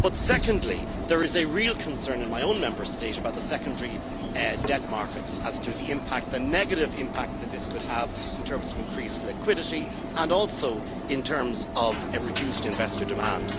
But secondly, there is a real concern in my own Member State about the secondary debt markets, as to the negative impact that this could have in terms of increased liquidity and also in terms of reduced investor demand.